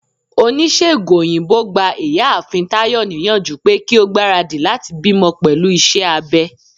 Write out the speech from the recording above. onisegùn oyinbo gbá ìyáàfín Tayo niyanju pe ki o gbarádí latí bimò pelú iṣẹ abé.